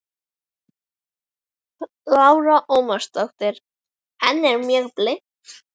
Lára Ómarsdóttir: En er mjög blint?